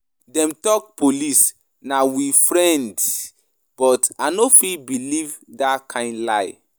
Dem talk police na we friend but I no fit beliv dat kind lie.